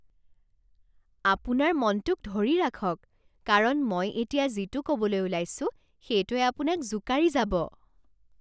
আপোনাৰ মনটোক ধৰি ৰাখক, কাৰণ মই এতিয়া যিটো ক'বলৈ ওলাইছো সেইটোৱে আপোনাক জোকাৰি যাব।